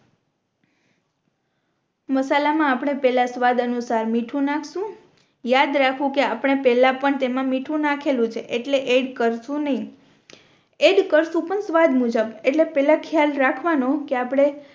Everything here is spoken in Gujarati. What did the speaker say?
મસાલા માં આપણે પેહલા સ્વાદ અનુસાર મીઠું નાખશુ યાદ રાખવું કે આપણે પેહલા પણ તેમાં મીઠું નાખેલું છે એટલે એડ કરશુ નહિ એડ કરશુ પણ સ્વાદ મુજબ એટલે પેહલા ખ્યાલ રાખવાનો કે આપણે